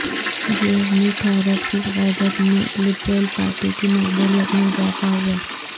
Jeremy Thorpe کی قیادت میں لبرل پارٹی کی مقبولیت میں اضافہ ہوا